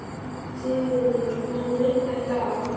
Sigurður, mun rigna í dag?